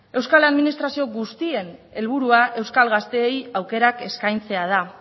euskal administrazio guztien helburua euskal gaztei aukerak eskaintzea da